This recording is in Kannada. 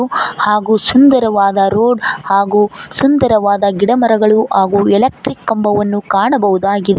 ಹಾಗು ಸುಂದರವಾದ ರೋಡ್ ಹಾಗು ಸುಂದರವಾದ ಗಿಡ ಮರಗಳು ಹಾಗು ಎಲೆಕ್ಟ್ರಿಕ್ ಕಂಬವನ್ನು ಕಾಣಬಹುದಾಗಿ --